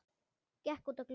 Gekk út að glugga.